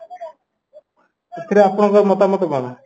ସେଥିରେ ଆପଣଙ୍କର ମତାମତ ଭଲ